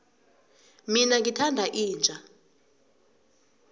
mina ngithanda inja